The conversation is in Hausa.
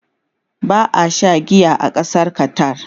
ba a Sha giya ba a Ƙasar Qatar